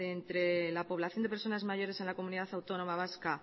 de entre la población de personas mayores en la comunidad autónoma vasca